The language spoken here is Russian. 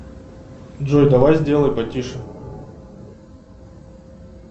джой давай сделай потише